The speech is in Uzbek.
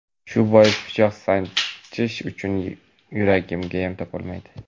shu bois pichoq sanchish uchun yuraginiyam topolmaydi.